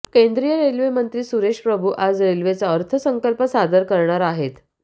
केंद्रीय रेल्वेमंत्री सुरेश प्रभू आज रेल्वेचा अर्थसंकल्प सादर कऱणार आहेत